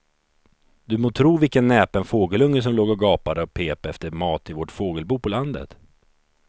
Du må tro vilken näpen fågelunge som låg och gapade och pep efter mat i vårt fågelbo på landet.